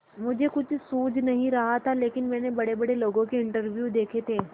मुझे कुछ सूझ नहीं रहा था लेकिन मैंने बड़ेबड़े लोगों के इंटरव्यू देखे थे